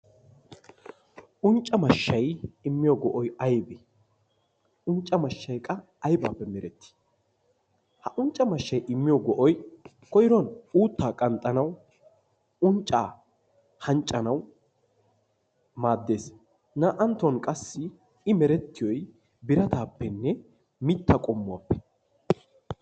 Uncca mashshayi immiyo go"oyi aybee uncca mashshayi qa aybaappe merettii ha uncca mashshayi immiyo go"ati koyruwan uutta qanxxanawu unccaa anccanawu maaddes naa"anttuwan qassi i merettiyoyi birataappenne mittaa qommuwappe.